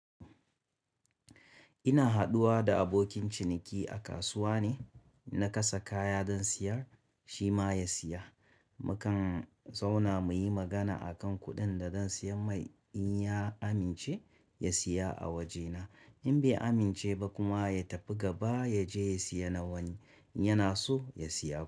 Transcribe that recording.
Ina haɗuwa da abokin ciniki a kasuwa ne, na kasa kaya zan siyar shi ma ya siya. Mukan zauna muyi magana akan kuɗin da zan siya mai in ya amince ya siya a wajena. In bai amince ba kuma ya tafi gaba ya je ya siya na wani, yana so ya siya.